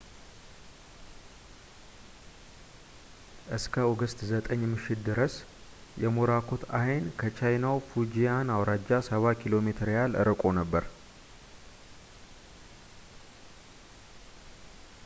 እስከ ኦገስት 9 ምሽት ድረስ የሞራኮት ዐይን ከቻይናው ፉጂያን አውራጃ ሰባ ኪሎ ሜትር ያህል ርቆ ነበር